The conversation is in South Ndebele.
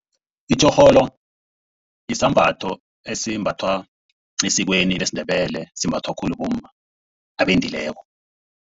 Itjorholo sisambatho esimbathwa esikweni lesiNdebele. Simbathwa khulu bomma abendileko.